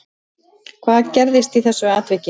Hvað gerðist í þessu atviki